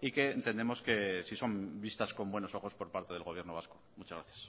y que entendemos que sí son vistas con buenos ojos por parte del gobierno vasco muchas gracias